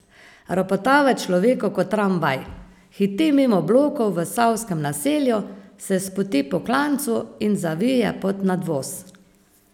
Ropota v človeku kot tramvaj, hiti mimo blokov v Savskem naselju, se spusti po klancu in zavije pod nadvoz.